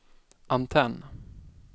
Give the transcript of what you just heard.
antenn